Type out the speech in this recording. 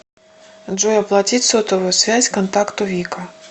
джой оплатить сотовую связь контакту вика